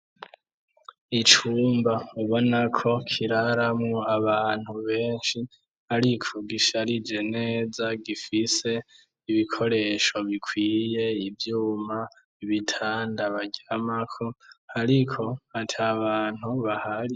Icumba ubona ko kiraramwo abantu benshi ariko gisharije neza, gifise ibikoresho bikwiye. Ivyuma, ibitanda baryamako ariko ata bantu bahari.